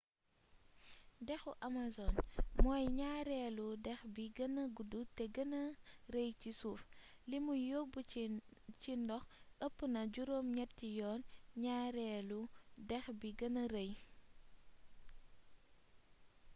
dexu amazon mooy ñaareelu dex bi gëna gudd te gëna rëy ci suuf limuy yóbb ci ndox ëpp na juróom ñetti yoon ñaareelu dex bi gëna rëy